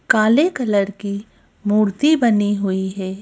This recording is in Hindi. काले कलर की मूर्ति बनी हुई है।